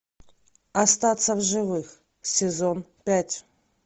остаться в живых сезон пять